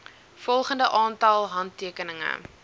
volgende aantal handtekeninge